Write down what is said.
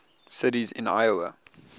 cities in iowa